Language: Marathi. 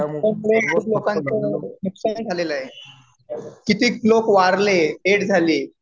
खूप लोकांचं नुकसान झालेलं आहे. कितीक लोक वारले. डेड झाले.